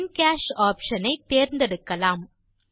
இன் cash option ஐ தேர்ந்தெடுக்கலாம்